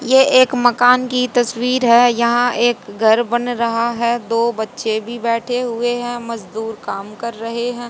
यह एक मकान की तस्वीर है यहां एक घर बन रहा है दो बच्चे भी बैठे हुए है मजदूर काम कर रहे है।